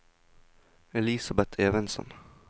Elisabeth Evensen